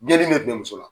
Geli bɛ bɛn muso la